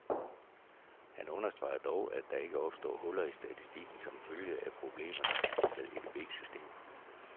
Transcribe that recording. Han understreger dog, at der ikke opstår huller i statistikken som følge af problemerne med EDB systemet.